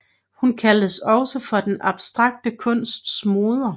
Hun kaldes også for den abstrakte kunsts moder